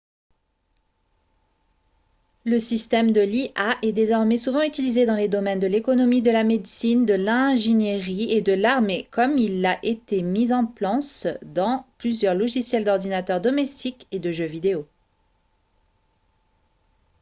le système de l'ia est désormais souvent utilisé dans les domaines de l'économie de la médecine de l'ingénierie et de l'armée comme il l'a été mis en plance dans plusieurs logiciels d'ordinateur domestique et de jeux vidéo